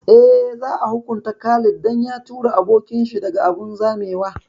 Eh, za a hukunta Khalid dan ya tura abokin shi daga abun zamewa